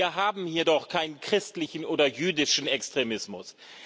Wir haben hier doch keinen christlichen oder jüdischen Extremismus.